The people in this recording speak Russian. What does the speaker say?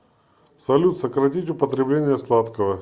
салют сократить употребление сладкого